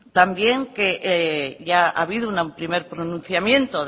también que ya ha habido un primer pronunciamiento